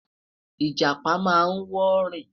ijapa má n wọ rin